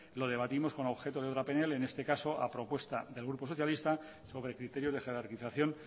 lo debatimos con el objetivo de una pnl en este caso a propuesta del grupo socialista sobre el criterio de jerarquización